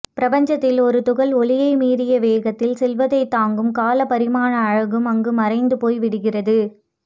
பிரபஞ்சத்தில் ஒரு துகள் ஒளியைமீறிய வேகத்தில் செல்வதை தாங்கும் காலப்பரிமாண அலகும் அங்கு மறைந்து போய்விடுகிறது